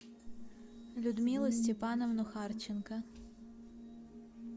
людмилу степановну харченко